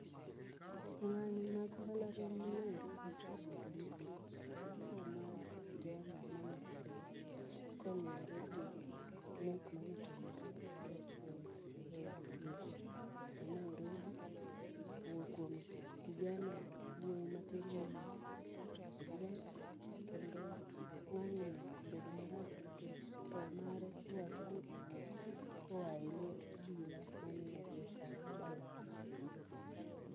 Ng'anyo mag mbalariany ma Nairobi kobedo nikech tho mar kijana manosebedo koluwore gi nek manotimore e od twech ma Nairobi kuom kijana wuoyi matin miluongo ni Ojwang' kendo ng'anyono obedo marach nikech tho mare iwacho ni owuok koa e lwet obila mane odhi okawe dalagi.